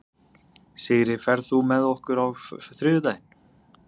Sigri, ferð þú með okkur á þriðjudaginn?